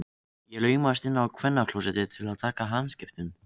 Ég laumast inn á kvennaklósettið til að taka hamskiptum.